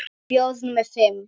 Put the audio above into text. Með bjór númer fimm.